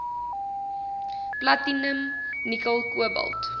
platinum nikkel kobalt